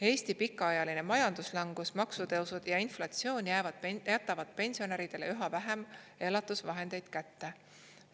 Eesti pikaajaline majanduslangus, maksutõusud ja inflatsioon jätavad pensionäridele üha vähem elatusvahendeid kätte.